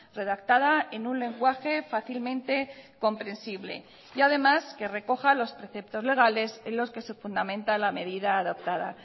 redactada en un lenguaje fácilmente comprensible y además que recoja los preceptos legales en los que se fundamenta la medida adoptada